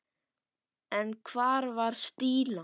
En hvar var Stína?